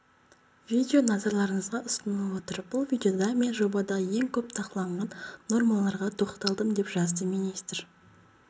видео назарларыңызға ұсынылып отыр бұл видеода мен жобадағы ең көп талқыланған нормаларға тоқталдым деп жаздыминистр